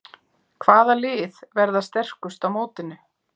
Hvaða lið verða sterkust á mótinu?